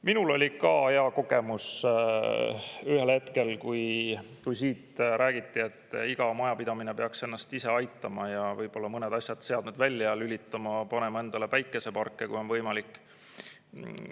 Minul oli ka hea kogemus ühel hetkel, kui siit räägiti, et iga majapidamine peaks ennast ise aitama ja võib-olla mõned seadmed välja lülitama, panema endale päikeseparke, kui on võimalik.